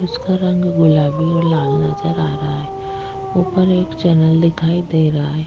जिसका रंग गुलाबी और लाल नजर आ रहा है ऊपर एक चैनल दिखाई दे रहा है।